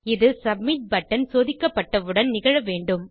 இது submit button சோதிக்கப்பட்டவுடன் நிகழ வேண்டும்